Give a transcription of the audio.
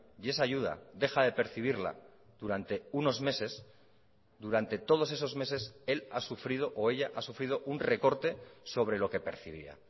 y esa ayuda deja de percibirla durante unos meses durante todos esos meses él ha sufrido o ella ha sufrido un recorte sobre lo que percibía